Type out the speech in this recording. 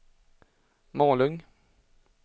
Malung